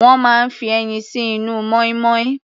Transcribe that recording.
Wọ́n máa ń fi ẹyin sí inú mọ́ínmọ́ín.